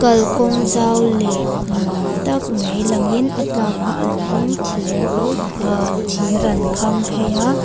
kal kawng zau leh nuam tak mai lang in a tlak na turin thir ah thir an kham phei a.